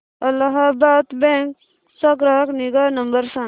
Allahabad bank चा ग्राहक निगा नंबर सांगा